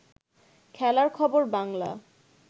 খেলার খবর বাংলা